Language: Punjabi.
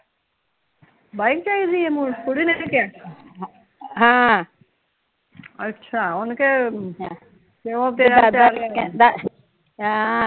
ਬਾਈਕ ਚਾਹੀਦੀ ਐ ਕੁੜੀ ਨੇ ਕਿਹਾ ਹਮ, ਅੱਛਾ ਓਹਨੂ ਕਹਿ ਕਿਉ ਤੇਰਾ